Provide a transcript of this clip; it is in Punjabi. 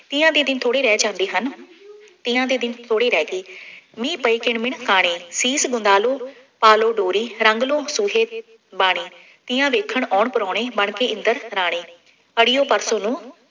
ਤੀਆਂ ਦੇ ਦਿਨ ਥੋੜ੍ਹੇ ਰਹਿ ਜਾਂਦੇ ਹਨ। ਤੀਆਂ ਦੇ ਦਿਨ ਥੋੜ੍ਹੇ ਰਹਿ ਗਏ, ਮੀਹ ਪਏ ਕਿਣ ਮਿਣ ਕਾਣੇ, ਸੀਸ ਗੁੰਦਾ ਲਉ, ਪਾ ਲਉ ਡੋਰੀ, ਰੰਗ ਲਉ ਸੂਹੇ ਬਾਣੇ. ਤੀਆਂ ਦੇਖਣ ਆਉਣ ਪ੍ਰਾਹੁਣੇ ਬਣਕੇ ਇੰਦਰ ਰਾਣੇ, ਅੜੀਓ ਪਰਸੋਂ ਨੂੰ